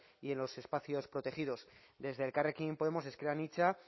y en los espacios protegidos desde elkarrekin podemos ezker anitza